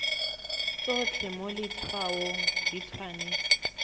tsotlhe mo letshwaong di tshwanetse